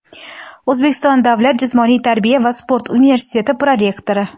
O‘zbekiston davlat jismoniy tarbiya va sport universiteti prorektori;.